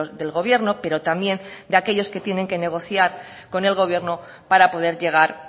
del gobierno pero también de aquellos que tienen que negociar con el gobierno para poder llegar